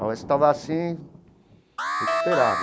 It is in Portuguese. A UESP estava assim, recuperada.